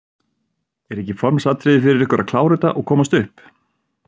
Er ekki formsatriði fyrir ykkur að klára þetta og komast upp?